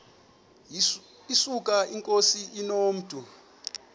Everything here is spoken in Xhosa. yesuka inkosi inomntu